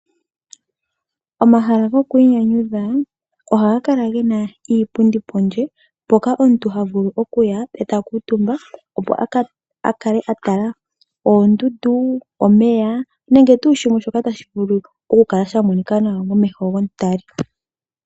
Omahala go kwinyanyudha ohaga kala gena iipundi pondje mpoka omuntu ha vulu okuya eta kuutumba, opo akale atala oondundu, omeya nenge kehe tuu shoka tashi vulu oku kala sha monika nawa momeho gomu tali.